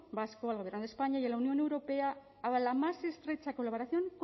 vasco al gobierno de españa y a la unión europea a la más estrecha colaboración